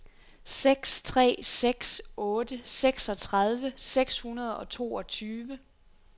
seks tre seks otte seksogtredive seks hundrede og toogtyve